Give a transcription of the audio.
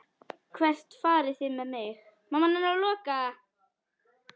Hvert farið þið með mig?